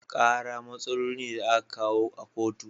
Kara matsaloli ne da a ka kawo a kotu.